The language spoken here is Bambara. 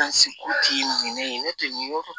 ne tɛ nin yɔrɔ dɔn